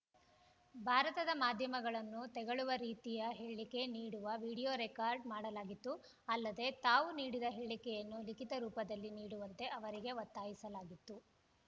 ಭಾರತದ ಮಾಧ್ಯಮಗಳನ್ನು ತೆಗಳುವ ರೀತಿಯ ಹೇಳಿಕೆ ನೀಡುವ ವಿಡಿಯೋ ರೆಕಾರ್ಡ್‌ ಮಾಡಲಾಗಿತ್ತು ಅಲ್ಲದೆ ತಾವು ನೀಡಿದ ಹೇಳಿಕೆಯನ್ನು ಲಿಖಿತ ರೂಪದಲ್ಲಿ ನೀಡುವಂತೆ ಅವರಿಗೆ ಒತ್ತಾಯಿಸಲಾಗಿತ್ತು